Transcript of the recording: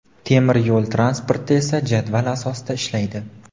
Temir yo‘l transporti esa jadval asosida ishlaydi.